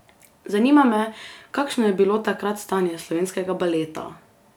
Zanima me, kakšno je bilo takrat stanje slovenskega baleta?